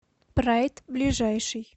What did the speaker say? прайд ближайший